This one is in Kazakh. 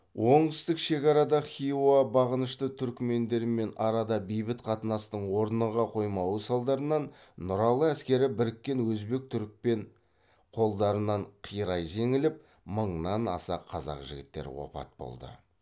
оңтүстік шекарада хиуа бағынышты түрікмендермен арада бейбіт қатынастың орныға қоймауы салдарынан нұралы әскері біріккен өзбек түрікпен қолдарынан қирай жеңіліп мыңнан аса қазақ жігіттері опат болды